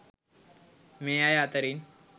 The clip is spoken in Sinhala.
මේ අය අතරින්